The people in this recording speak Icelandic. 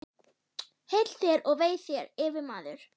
Heill þér og vei þér, yfirmaður!